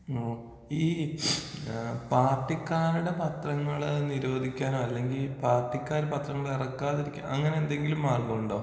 ആ ഈ പാർട്ടിക്കാരുടെ പത്രങ്ങൾ നിരോധിക്കാനോ അല്ലെങ്കി പാർട്ടിക്കാർ പത്രങ്ങൾ എറക്കാതിരിക്കാനോ അങ്ങനെ എന്തെങ്കിലും മാർഗങ്ങളുണ്ടോ?